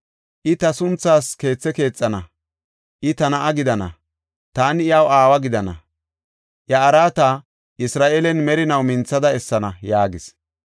I ta sunthaas keethe keexana. I ta na7a gidana; taani iyaw aawa gidana. Iya araata Isra7eelen merinaw minthada essana’ ” yaagis.